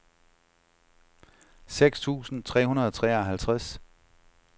seks tusind tre hundrede og treoghalvtreds